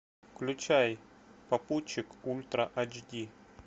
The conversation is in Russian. включай попутчик ультра ач ди